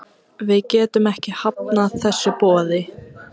Við getum ekki hafnað þessu boði.